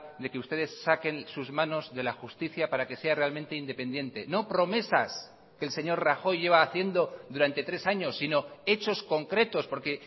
de que ustedes saquen sus manos de la justicia para que sea realmente independiente no promesas que el señor rajoy lleva haciendo durante tres años sino hechos concretos porque